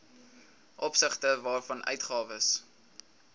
opsigte waarvan uitgawes